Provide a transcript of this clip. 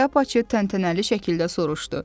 Şlyapaçı təntənəli şəkildə soruşdu: